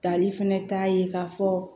Tali fɛnɛ t'a ye k'a fɔ